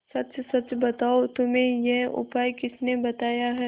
सच सच बताओ तुम्हें यह उपाय किसने बताया है